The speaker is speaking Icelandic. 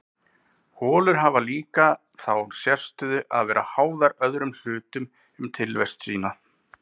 Holur hafa líka þá sérstöðu að vera háðar öðrum hlutum um tilvist sína.